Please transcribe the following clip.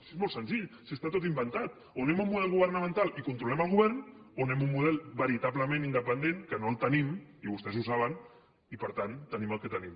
si és molt senzill si està tot inventat o anem a un model governamental i controlem el govern o anem a un model veritablement independent que no el tenim i vostès ho saben i per tant tenim el que tenim